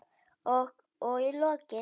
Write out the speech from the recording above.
Og í lokin.